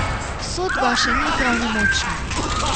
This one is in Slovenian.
Sodba še ni pravnomočna.